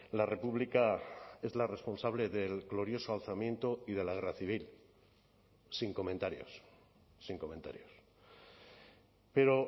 la república es la responsable del glorioso alzamiento y de la guerra civil sin comentarios sin comentarios pero